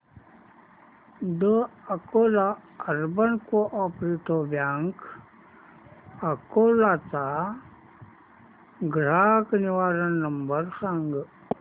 the Akola urban cooperative bank Akola चा ग्राहक निवारण नंबर सांग